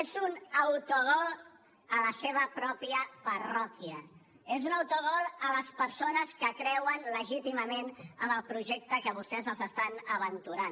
és un autogol a la seva pròpia parròquia és un autogol a les persones que creuen legítimament en el projecte que vostès els estan aventurant